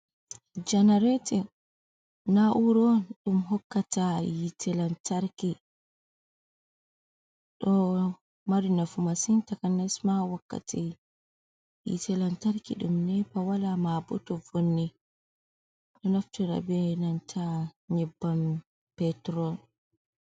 Janaratin na 'ura on ɗum hokkata hite lantarki, ɗo mari nafu masin takanas ma wakkati hite lantarki ɗum nepa wala mabo to vonni ɗo nafitira be nyibbam petrol,